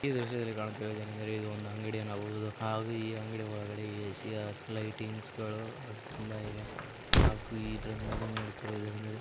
ಈ ದೃಶ್ಯದಲ್ಲಿ ಕಾಣುತ್ತಿರುವುದು ಏನೆಂದರೆ ಇದು ಒಂದು ಅಂಗಡಿ ಅನ್ನಬಹುದು ಹಾಗೂ ಈ ಅಂಗಡಿ ಒಳಗೆ ಎ_ಸಿ ಲೈಟಿಂಗ್ಸ್ ಗಳು ತುಂಬಾ ಇವೆ ಹಾಗೂ ಇದರ ಮೇಲೆ ನೋಡುತ್ತಿರುವುದು ಏನೆಂದರೆ--